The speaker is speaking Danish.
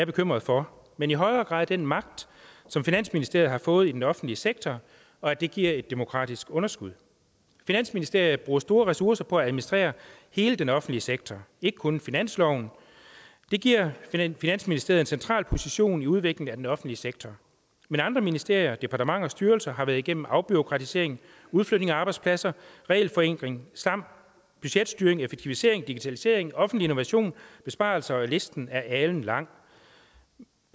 bekymret for men i højere grad den magt som finansministeriet har fået i den offentlige sektor og at det giver et demokratisk underskud finansministeriet bruger store ressourcer på at administrere hele den offentlige sektor ikke kun finansloven det giver finansministeriet en central position i udviklingen af den offentlige sektor men andre ministerier og departementer og styrelser har været igennem afbureaukratisering udflytning af arbejdspladser regelforenkling samt budgetstyring effektivisering digitalisering offentlig innovation besparelser ja listen er alenlang